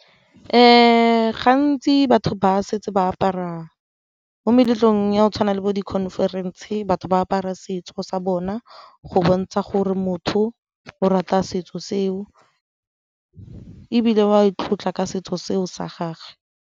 Gantsi batho ba setse ba apara, mo meletlong ya go tshwana le bo di-conference batho ba apara setso sa bona go bontsha gore motho o rata setso seo ebile o a e tlotla ka setso seo sa gage.